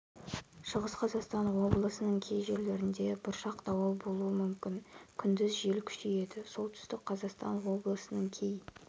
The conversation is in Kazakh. шығыс қазақстан облысының кей жерлерінде бұршақ дауыл болуы мүмкін күндіз жел күшейеді солтүстік қазақстан облысының кей